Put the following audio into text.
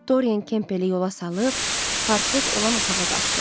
Doryen Kempeli yola salıb partret olan otağa qalxdı.